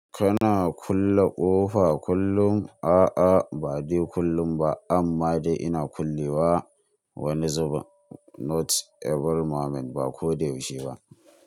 Kana kulle ƙofa kullum? A'a ba dai kullum ba amma dai ina kulle wa wani zubin. Not every moment, ba ko da yaushe ba.